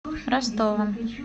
ростовом